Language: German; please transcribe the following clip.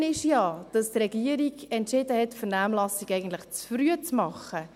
Das Gute ist ja, dass die Regierung entschieden hat, die Vernehmlassung eigentlich zu früh zu machen.